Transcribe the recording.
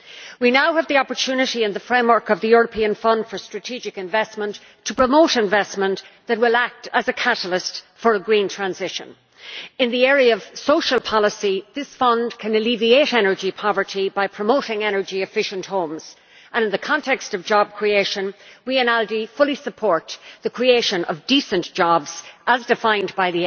We now have the opportunity in the framework of the European Fund for Strategic Investment to promote investment that will act as a catalyst for a green transition. In the area of social policy, this fund can alleviate energy poverty by promoting energy efficient homes and in the context of job creation we, in ALDE, fully support the creation of decent jobs, as defined by